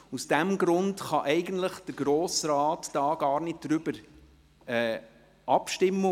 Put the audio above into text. Aus diesem Grund kann der Grosse Rat gar nicht darüber abstimmen.